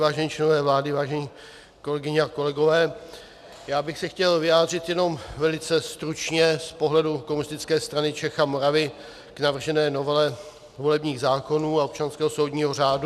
Vážení členové vlády, vážené kolegyně a kolegové, já bych se chtěl vyjádřit jenom velice stručně z pohledu Komunistické strany Čech a Moravy k navržené novele volebních zákonů a občanského soudního řádu.